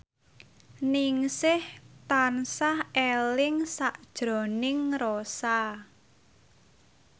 Ningsih tansah eling sakjroning Rossa